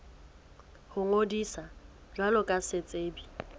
ho ngodisa jwalo ka setsebi